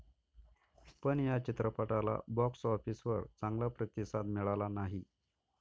पण या चित्रपटाला बॉक्स ऑफिसवर चांगला प्रतिसाद मिळाला नाही.